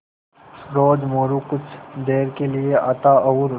रोज़ मोरू कुछ देर के लिये आता और